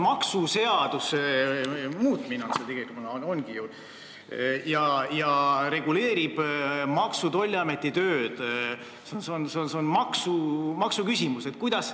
Tegu on maksuseaduse muutmisega, eelnõu reguleerib Maksu- ja Tolliameti tööd, see on maksuküsimus.